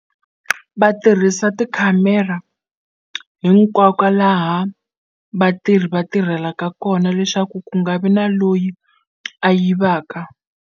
Va tirhisa tikhamera hinkwako laha vatirhi va tirhelaka kona leswaku ku nga vi na loyi a yivaka.